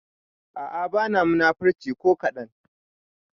A'a bana munafurci ko kadan